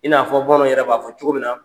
I n'a fɔ bamananw yɛrɛ b'a fɔ cogo min na